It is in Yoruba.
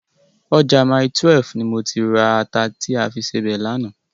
Ọjà Mile12 ni mo ti ra ata ta fi sebẹ̀ lánàá.